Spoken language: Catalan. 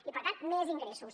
i per tant més ingressos